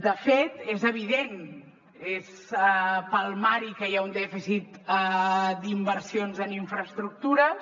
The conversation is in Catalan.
de fet és evident és palmari que hi ha un dèficit d’inversions en infraestructures